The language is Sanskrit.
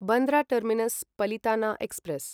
Bandra terminus Palitana express